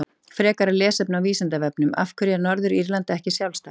Frekara lesefni á Vísindavefnum: Af hverju er Norður-Írland ekki sjálfstætt?